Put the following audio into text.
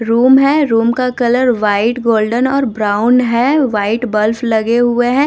Room है room का colour white golden और ब्राउन है व्हाइट बल्फ लगे हुए हैं।